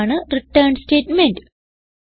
ഇതാണ് return statement